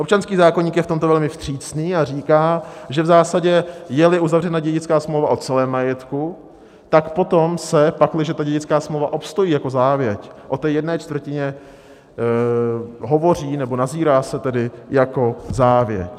Občanský zákoník je v tomto velmi vstřícný a říká, že v zásadě, je-li uzavřena dědická smlouva o celém majetku, tak potom se, pakliže ta dědická smlouva obstojí jako závěť, o té jedné čtvrtině hovoří nebo nazírá se tedy jako závěť.